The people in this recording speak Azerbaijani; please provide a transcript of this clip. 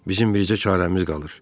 Bizim bircə çarəmiz qalır.